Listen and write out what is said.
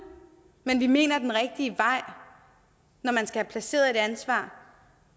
men vi mener at den rigtige vej når man skal have placeret et ansvar